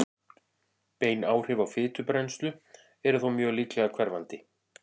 Bein áhrif á fitubrennslu eru þó mjög líklega hverfandi.